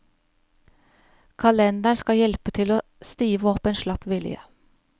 Kalenderen skal hjelpe til å stive opp en slapp vilje.